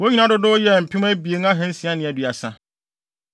Wɔn nyinaa dodow yɛɛ mpem abien ahansia ne aduasa.